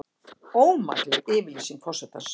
Ómakleg yfirlýsing forsetans